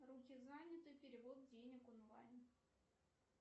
руки заняты перевод денег онлайн